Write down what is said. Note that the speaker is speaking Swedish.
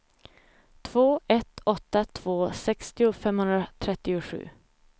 två ett åtta två sextio femhundratrettiosju